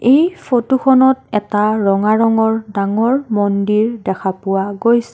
এই ফটো খনত এটা ৰঙা ৰঙৰ ডাঙৰ মন্দিৰ দেখা পোৱা গৈ--